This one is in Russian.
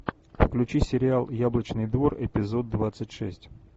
включи сериал яблочный двор эпизод двадцать шесть